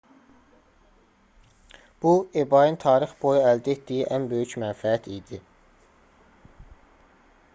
bu ebay-ın tarix boyu əldə etdiyi ən böyük mənfəət idi